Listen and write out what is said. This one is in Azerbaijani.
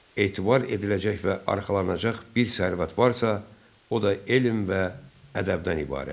Etibar ediləcək və arxalanacaq bir sərvət varsa, o da elm və ədəbdən ibarətdir.